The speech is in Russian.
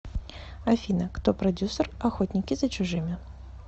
афина кто продюссер охотники за чужими